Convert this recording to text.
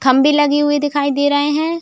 खंबे (खंभे) लगे हुए दिखाई दे रहे हैं।